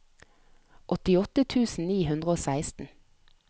åttiåtte tusen ni hundre og seksten